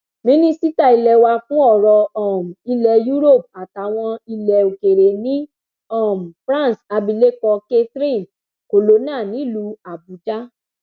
mínísítà ilẹ wà fún ọrọ um ilẹ europe àtàwọn ilẹ òkèèrè ní um france abilékọ catherine colonna nílùú àbújá